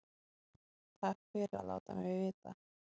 Takk fyrir að láta mig vita